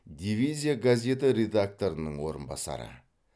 дивизия газеті редакторының орынбасары